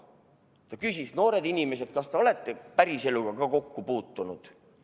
Ta küsis: "Noored inimesed, kas te olete päris eluga ka kokku puutunud?